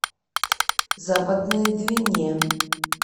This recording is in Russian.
западной двине